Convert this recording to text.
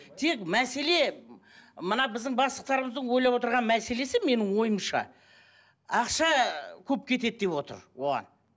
тек мәселе мына біздің бастықтарымыздың ойлап отырған мәселесі менің ойымша ақша көп кетеді деп отыр оған